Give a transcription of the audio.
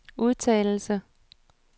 udtalelse